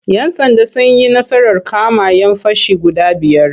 Yan'sanda sun yi nasarar kama'yan fashi guda biyar.